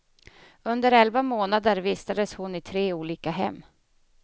Under elva månader vistades hon i tre olika hem.